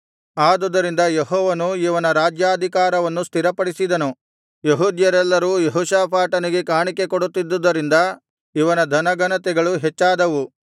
ಆದುದರಿಂದ ಯೆಹೋವನು ಇವನ ರಾಜ್ಯಾಧಿಕಾರವನ್ನು ಸ್ಥಿರಪಡಿಸಿದನು ಯೆಹೂದ್ಯರೆಲ್ಲರೂ ಯೆಹೋಷಾಫಾಟನಿಗೆ ಕಾಣಿಕೆ ಕೊಡುತ್ತಿದ್ದುದರಿಂದ ಇವನ ಧನ ಘನತೆಗಳು ಹೆಚ್ಚಾದವು